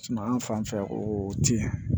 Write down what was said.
Suma fanfɛ o tɛ